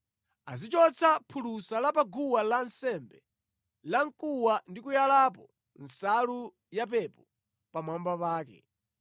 “Azichotsa phulusa la pa guwa lansembe lamkuwa ndi kuyalapo nsalu yapepo pamwamba pake.